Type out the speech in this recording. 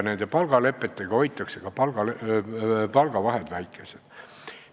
Nende palgalepetega hoitakse palgavahed väikesed.